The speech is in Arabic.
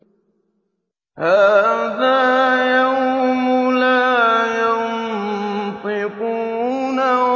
هَٰذَا يَوْمُ لَا يَنطِقُونَ